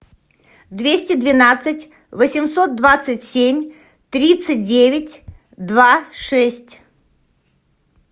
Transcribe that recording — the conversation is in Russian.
двести двенадцать восемьсот двадцать семь тридцать девять два шесть